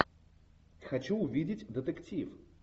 хочу увидеть детектив